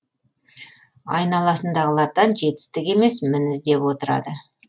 айналасындағылардан жетістік емес мін іздеп отырады